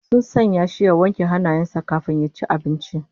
Sun sanya shi ya wanke hannayen sa kafin ya ci abincin